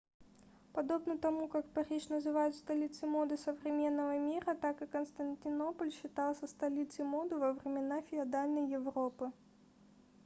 подобно тому как париж называют столицей моды современного мира так и константинополь считался столицей моды во времена феодальной европы